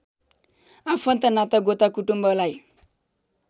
आफन्त नातागोता कुलकुटुम्बलाई